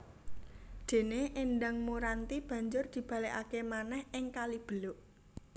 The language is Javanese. Dene Endang Muranti banjur dibalekake manèh ing Kalibeluk